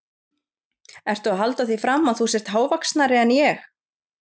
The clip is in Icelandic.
Ertu að halda því fram að þú sért hávaxnari en ég?